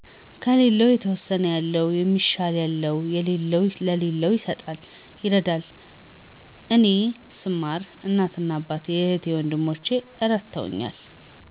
ከለለው የተወሰነ ያለው ሰለሚሻል ያለው ለለው ይሰጣል ይረዳል እኔ ሰማር እናት አባት፣ እህት ወንድሞቸ እረድተውኛል።